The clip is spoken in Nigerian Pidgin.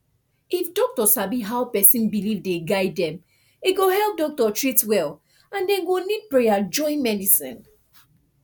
if doctor sabi how person belief dey guide dem e go help doctor treat well and dem go need prayer join medicine